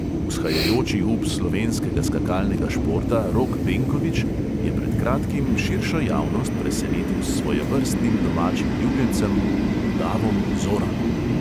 Vzhajajoči up slovenskega skakalnega športa rok benkovič je pred kratkim širšo javnost presenetil s svojevrstnim domačim ljubljencem: udavom zoranom.